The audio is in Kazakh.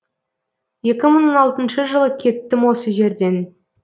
екі мың он алтыншы жылы кеттім осы жерден